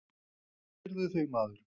Meiddirðu þig maður?